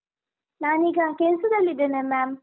ನಾನೀಗ ಕೆಲ್ಸದಲ್ಲಿದ್ದೇನೆ ma’am .